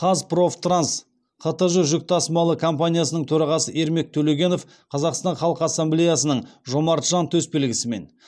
қазпрофтранс қтж жүк тасымалы компаниясының төрағасы ермек төлегенов қазақстан халқы ассамблеясының жомарт жан төсбелгісімен